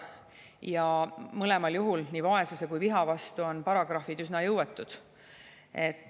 Ja mõlemal juhul, nii vaesuse kui ka viha vastu on paragrahvid üsna jõuetud.